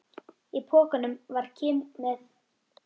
Í pokanum var Kim með